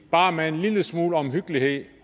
bare med en lille smule omhyggelighed